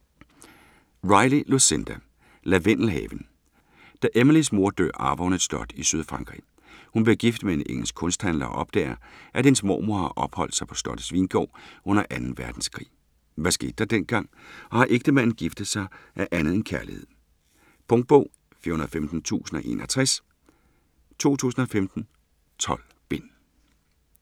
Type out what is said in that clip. Riley, Lucinda: Lavendelhaven Da Emilies mor dør arver hun et slot i Sydfrankrig. Hun bliver gift med en engelsk kunsthandler og opdager, at hans mormor opholdt sig på slottets vingård under 2. verdenskrig. Hvad skete der dengang? Og har ægtemanden giftet sig af andet end kærlighed? Punktbog 415061 2015. 12 bind.